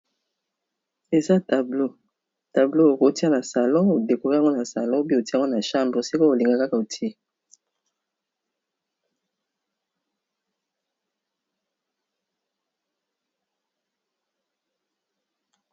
Eza tableau, tableau oko tia na salon o décorer yango na salon ou bien o tié yango na chanbre, esiko oko linga kaka o tié.